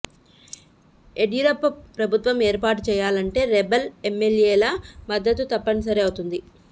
యడ్యూరప్ప ప్రభుత్వం ఏర్పాటు చేయాలంటే రెబెల్ ఎమ్మెల్యేల మద్దతు తప్పని సరి అవుతుంది